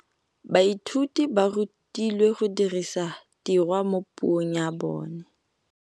Baithuti ba rutilwe go dirisa tirwa mo puong ya bone.